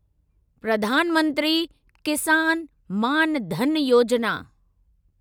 Pradhan Mantri Kisan Maan Dhan Yojana